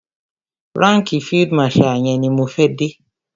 Ránkìì field marshal yẹn ni mo fẹ́ dé.